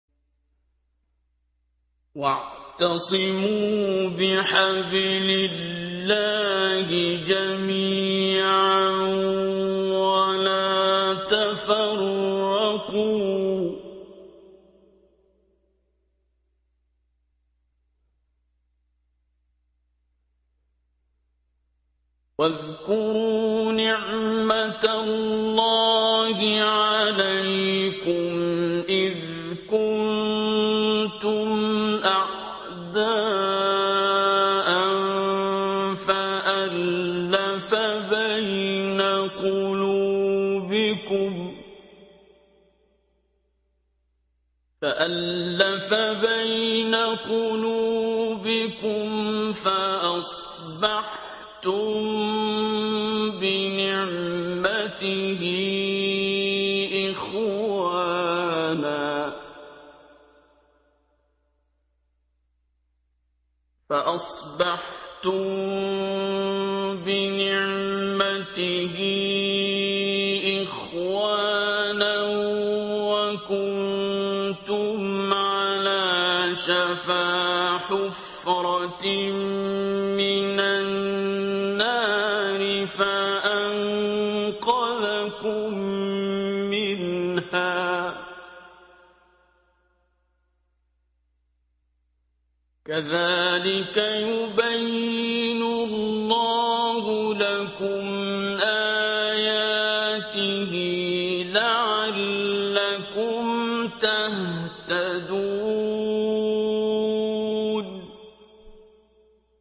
وَاعْتَصِمُوا بِحَبْلِ اللَّهِ جَمِيعًا وَلَا تَفَرَّقُوا ۚ وَاذْكُرُوا نِعْمَتَ اللَّهِ عَلَيْكُمْ إِذْ كُنتُمْ أَعْدَاءً فَأَلَّفَ بَيْنَ قُلُوبِكُمْ فَأَصْبَحْتُم بِنِعْمَتِهِ إِخْوَانًا وَكُنتُمْ عَلَىٰ شَفَا حُفْرَةٍ مِّنَ النَّارِ فَأَنقَذَكُم مِّنْهَا ۗ كَذَٰلِكَ يُبَيِّنُ اللَّهُ لَكُمْ آيَاتِهِ لَعَلَّكُمْ تَهْتَدُونَ